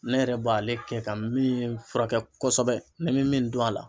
Ne yɛrɛ b'ale kɛ ka min furakɛ kosɛbɛ ne bɛ min dɔn a la.